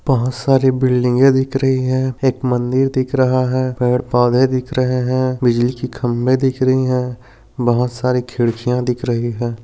बहुत सारी बिल्डिंगे दिख रही है। एक मंदिर दिख रहा है पेड़ पौधे दिख रहे है। बिजली की खंबे दिख रही है। बहुत सारी खिड्किया दिख रही है।